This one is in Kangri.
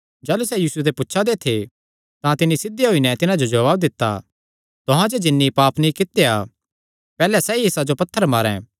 जाह़लू सैह़ यीशु ते पुछा दे थे तां तिन्नी सिध्धे होई नैं तिन्हां जो जवाब दित्ता तुहां च जिन्नी पाप नीं कित्या पैहल्ले सैई इसा जो पत्थर मारें